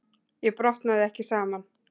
Ég brotnaði ekki saman.